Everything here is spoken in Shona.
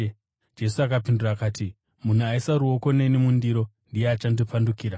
Jesu akapindura akati, “Munhu aisa ruoko neni mundiro, ndiye achandipandukira.